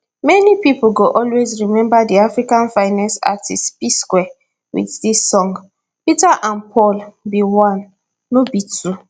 many pipo go always remember di africa finest artistes psquare wit dis song peter and paul be one no be two